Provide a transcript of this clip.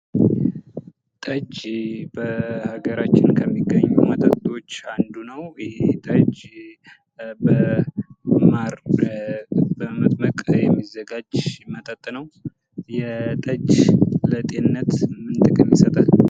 ጠጅ በሃገራችን ከሚገኙ መጠጦች አንዱ ነው ይሄ ጠጅ በማር በመጥመቅ የሚዘጋጅ ነው። ጠጅ ለጤንነት ምን ጥቅም ይሰጣል?